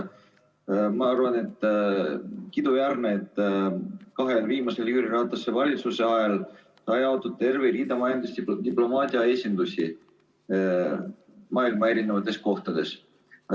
Minu arvates on kiiduväärne, et Jüri Ratase kahe viimase valitsuse ajal sai rajatud terve hulk majandusdiplomaatia esindusi maailma eri kohtades.